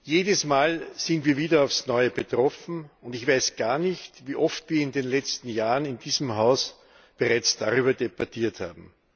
Jedes Mal sind wir wieder aufs Neue betroffen, und ich weiß gar nicht, wie oft wir in den letzten Jahren in diesem Haus bereits darüber debattiert haben.